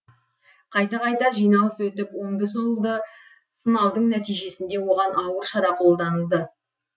қайта қайта жиналыс өтіп оңды солды сынаудың нәтижесінде оған ауыр шара қолданылды